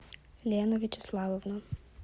лену вячеславовну